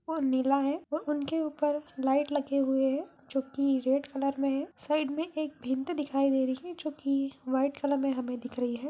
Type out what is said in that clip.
वो नीला है और उन के ऊपर लाइट लगे हुए हैं जोकी रेड कलर में है साइड में एक दिखाई दे रही है जोकी वाइट कलर में हमें दिख रही है।